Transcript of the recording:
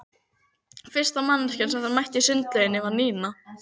Fyrsta manneskja sem þeir mættu í sundlaugunum var Nína.